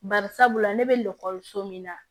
Bari sabula ne bɛ min na